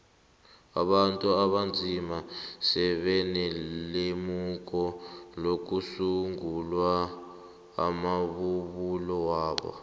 abantu abanzima sebanelemuko lokusungula amabubulo wabo